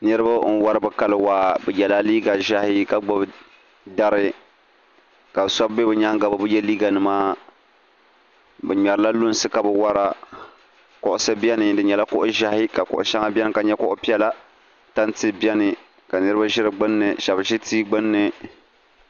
niriba n-wari bɛ kali waa bɛ yɛla liiga ʒɛhi ka gbubi dari ka shɛba be bɛ nyaaŋga bɛ bi ye liiganima bɛ ŋmɛrila lunsi ka bɛ wara kuɣisi beni di nyɛla kuɣ' ʒɛhi ka kuɣ' shɛŋa beni ka nyɛ kuɣ' piɛla tanti beni ka niriba ʒi di gbunni shɛba ʒi tia gbunni